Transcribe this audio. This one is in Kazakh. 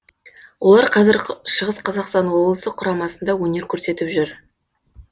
олар қазір шығыс қазақстан облысы құрамасында өнер көрсетіп жүр